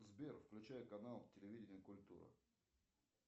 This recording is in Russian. сбер включай канал телевидения культура